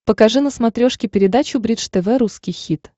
покажи на смотрешке передачу бридж тв русский хит